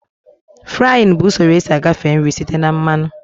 Fraaịn bụ usoro esi agafe nri site na mmanụ